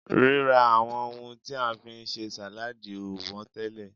rira awon ohun ti a fi n se saladi o won tele